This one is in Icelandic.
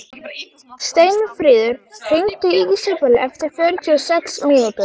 Steinfríður, hringdu í Ísabellu eftir fjörutíu og sex mínútur.